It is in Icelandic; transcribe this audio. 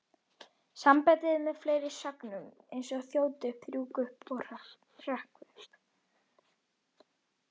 Sambandið er notað með fleiri sögnum eins og þjóta upp, rjúka upp, hrökkva upp.